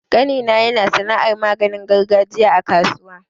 ƙanina yana sana'ar maganin gargajiya a kasuwa.